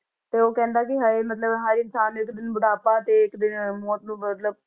ਤੇ ਉਹ ਕਹਿੰਦਾ ਕਿ ਹਰ ਮਤਲਬ ਹਰ ਇਨਸਾਨ ਨੂੰ ਇੱਕ ਦਿਨ ਬੁਢਾਪਾ ਤੇ ਇੱਕ ਦਿਨ ਮੌਤ ਨੂੰ ਮਤਲਬ